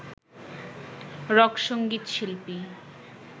rock সঙ্গীত শিল্পী